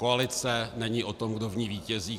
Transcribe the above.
Koalice není o tom, kdo v ní vítězí.